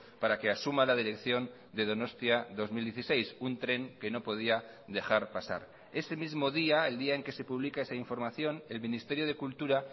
para que asuma la dirección de donostia dos mil dieciséis un tren que no podía dejar pasar ese mismo día el día en que se publica esa información el ministerio de cultura